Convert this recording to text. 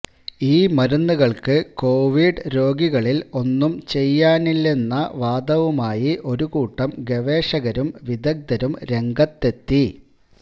ഈ മരുന്നുകള്ക്ക് കൊവിഡ് രോഗികളില് ഒന്നും ചെയ്യാനില്ലെന്ന വാദവുമായി ഒരുകൂട്ടം ഗവേഷകരും വിദഗ്ധരും രംഗത്തെത്തി